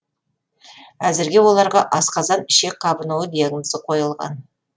әзірге оларға асқазан ішек қабынуы диагнозы қойылған